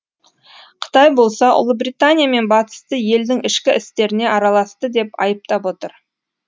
қытай болса ұлыбритания мен батысты елдің ішкі істеріне араласты деп айыптап отыр